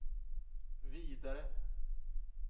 vidare